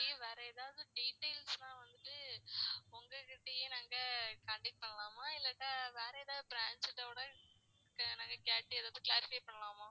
வேற ஏதாவது details லாம் வந்து உங்ககிட்டயே நாங்க contact பண்ணலாமா இல்லாட்டா வேற எதாவது branch ஓட நாங்க கேட்டு clarify பண்ணலாமா